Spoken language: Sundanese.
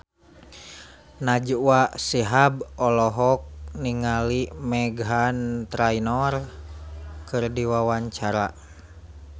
Najwa Shihab olohok ningali Meghan Trainor keur diwawancara